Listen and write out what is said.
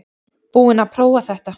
Búinn að prófa þetta